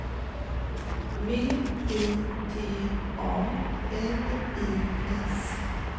V I T A L I S